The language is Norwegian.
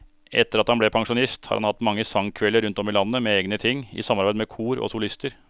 Etter at han ble pensjonist har han hatt mange sangkvelder rundt om i landet med egne ting, i samarbeid med kor og solister.